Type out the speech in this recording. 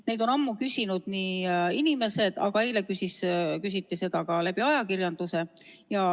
Neid on ammu küsinud inimesed, aga eile küsiti seda ka ajakirjanduses.